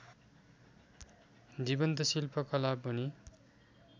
जीवन्त शिल्पकला पनि